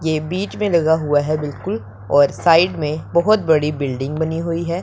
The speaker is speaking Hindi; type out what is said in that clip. ये बीच में लगा हुआ है बिल्कुल और साइड में बहोत बड़ी बिल्डिंग बनी हुई है।